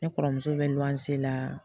Ne kɔrɔmuso bɛ n'an se la